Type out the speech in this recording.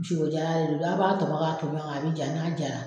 Diyɔ ɲaga de don, n'a' b'a tɔmɔ k'a tɔmɔ k'a bi ja n'a jara